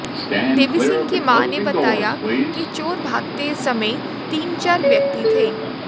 देवी सिंह की मां ने बताया के चोर भागते समय तीन चार व्यक्ति थे